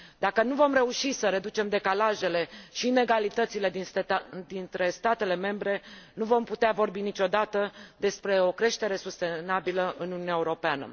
Dacă nu vom reuși să reducem decalajele și inegalitățile dintre statele membre, nu vom putea vorbi niciodată despre o creștere sustenabilă în Uniunea Europeană.